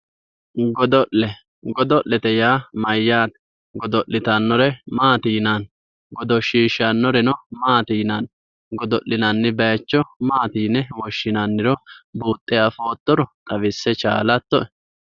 Godo'le godo'lete yaa mayyaate? Godo'litannore maati yinanni? Godoshshishshannoreno maati yinanni? Godo'linanni bayichono maati yinanniro buuxxe afoottaro xawisse dandaattoe?